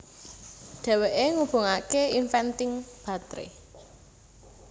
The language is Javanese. Dhèwèké ngubungaké inventing batré